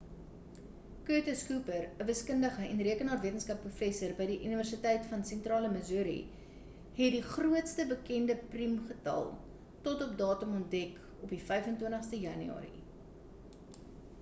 curtis cooper 'n wiskundige en rekenaarwetenskap professor by die universiteit van sentrale missouri het die grootste bekende priem getal tot op datum ontdek op die 25ste januarie